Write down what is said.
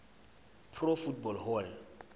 pro football hall